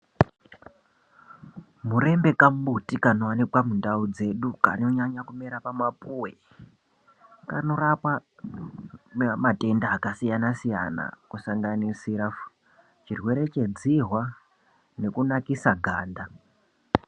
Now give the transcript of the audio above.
Murembe kambuti kanowanikwa mundau dzedu kanonyanya kumera pamapuwe kanorapa matenda akasiyanasiyana kusanganisira chirwere chedzihwa nekunakisa ganda.